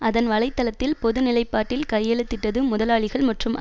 அதன் வலை தளத்தில் பொது நிலைப்பாட்டில் கையெழுத்திட்டது முதலாளிகள் மற்றும்